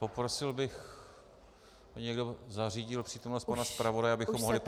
Poprosil bych, aby někdo zařídil přítomnost pana zpravodaje, abychom mohli pokračovat.